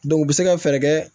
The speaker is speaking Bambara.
u bɛ se ka fɛɛrɛ kɛ